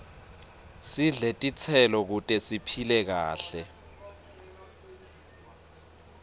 sidle titselo kute siphile kahle